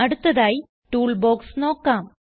അടുത്തതായി ടൂൾബോക്സ് നോക്കാം